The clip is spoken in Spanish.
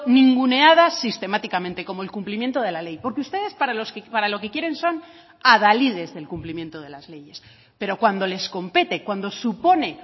ninguneadas sistemáticamente como el cumplimiento de la ley porque ustedes para lo que quieren son adalides del cumplimiento de las leyes pero cuando les compete cuando supone